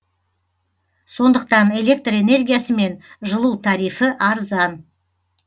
сондықтан электр энергиясы мен жылу тарифі арзан